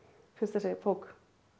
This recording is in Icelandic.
finnst þessi bók